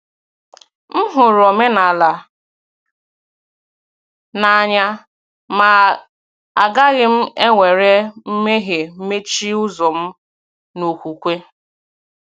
M hụrụ omenala n’anya, ma agaghị m ewere mmehie mechie ụzọ m n’okwukwe.